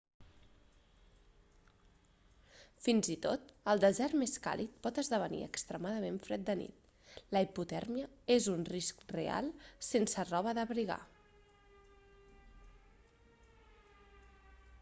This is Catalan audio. fins i tot el desert més càlid pot esdevenir extremadament fred de nit la hipotèrmia és un risc real sense roba d'abrigar